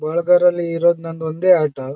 bulgur ನಲ್ಲಿ ಇರೋದು ನಮ್ದ್ ಒಂದೇ ಆಟೋ--